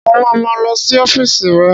Mo ma ma lọ sí ọ́fíìsì rẹ̀